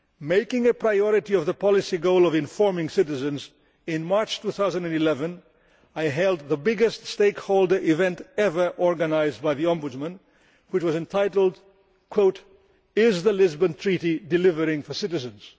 Making a priority of the policy goal of informing citizens, in March 2011 I held the biggest stakeholder event ever organised by the Ombudsman, which was entitled Is the Lisbon Treaty delivering for citizens?'